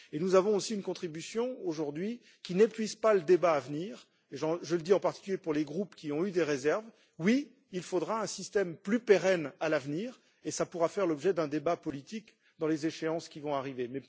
Et nous avons aussi une contribution aujourd'hui qui n'épuise pas le débat à venir, et je le dis en particulier pour les groupes qui ont eu des réserves oui, il faudra un système plus pérenne à l'avenir et cela pourra faire l'objet d'un débat politique dans les échéances qui vont arriver.